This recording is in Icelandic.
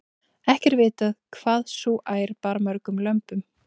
ekki er vitað hvað sú ær bar mörgum lömbum